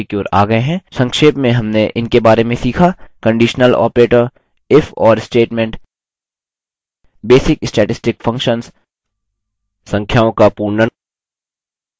संक्षेप में हमने इनके बारे में सीखा: conditional operator conditional operator if or statement if or statement basic statistic functions संख्याओं का पूर्णन